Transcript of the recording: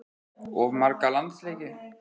Of marga landsleiki?